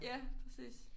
Ja præcis